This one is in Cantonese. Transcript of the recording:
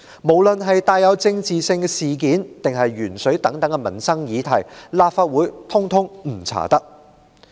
無論是帶有政治性的事件，還是鉛水等民生議題，立法會一概不能調查。